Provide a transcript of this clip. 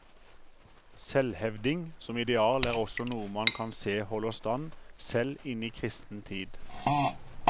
Selvhevding som ideal er også noe man kan se holder stand selv inn i kristen tid.